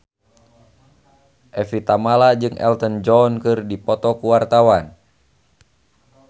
Evie Tamala jeung Elton John keur dipoto ku wartawan